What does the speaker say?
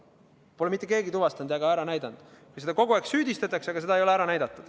Seda pole mitte keegi tuvastanud, aga selles kogu aeg süüdistatakse.